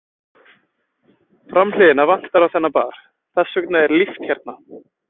Framhliðina vantar á þennan bar, þessa vegna er líft hérna.